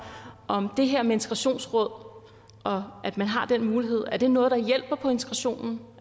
om det her med integrationsråd og at man har den mulighed er noget der hjælper på integrationen